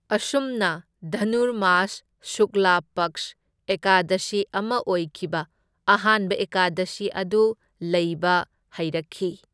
ꯑꯁꯨꯝꯅ ꯙꯅꯨꯔꯃꯥꯁ ꯁꯨꯛꯂꯥ ꯄꯛꯁ ꯑꯦꯀꯥꯗꯁꯤ ꯑꯃ ꯑꯣꯏꯈꯤꯕ, ꯑꯍꯥꯟꯕ ꯑꯦꯀꯥꯗꯁꯤ ꯑꯗꯨ ꯂꯩꯕ ꯍꯩꯔꯛꯈꯤ꯫